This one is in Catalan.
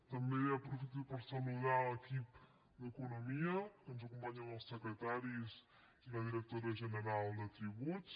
també aprofito per saludar l’equip d’economia perquè ens acompanyen els secretaris i la directora general de tributs